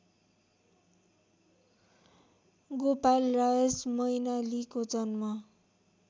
गोपालराज मैनालीको जन्म